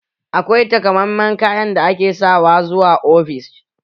Akwai takammamen kayan da ake sawa zuwa ofishin?